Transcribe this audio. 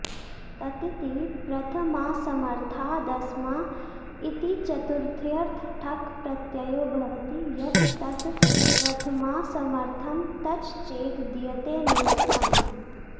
ततिति प्रथमासमर्थादस्मा इति चतुर्थ्यर्थ ठक् प्रत्ययो भवति यत् तत् प्रथमासमर्थं तच् चेद् दीयते नियुक्तम्